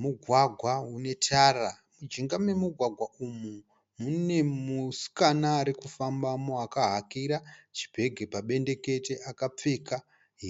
Mugwagwa une tara. Mujinga memugwagwa umu mune musikana ari kufambamo akahakira chibhegi pabendekete, akapfeka